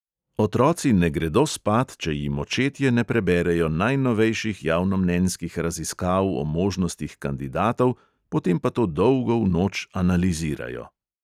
Otroci ne gredo spat, če jim očetje ne preberejo najnovejših javnomnenjskih raziskav o možnostih kandidatov, potem pa to dolgo v noč analizirajo.